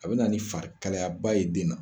A bɛ na ni farikalayaba ye den na